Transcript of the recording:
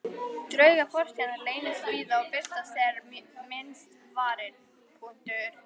Draugar fortíðarinnar leynast víða og birtast þegar minnst varir.